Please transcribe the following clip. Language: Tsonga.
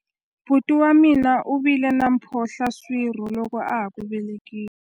buti wa mina u vile na mphohlaswirho loko a ha ku velekiwa